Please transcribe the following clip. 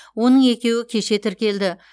оның екеуі кеше тіркелді